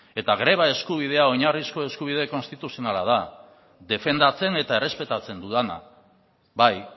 eta greba eskubidea oinarrizko eskubide konstituzionala da defendatzen eta errespetatzen dudana bai